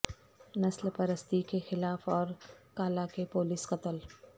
نسل پرستی کے خلاف اور کالا کے پولیس قتل